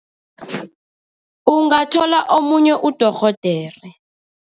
Ungathola omunye udorhodere.